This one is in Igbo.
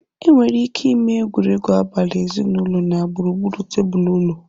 Enwere ike ịme egwuregwu abali ezinụlọ na gburugburu tebụl ụlọ.